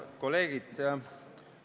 Head kolleegid!